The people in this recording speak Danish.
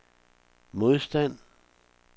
modstand